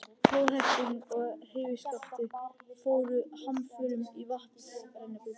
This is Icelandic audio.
Flóðhesturinn og hrífuskaftið fóru hamförum í vatnsrennibrautinni.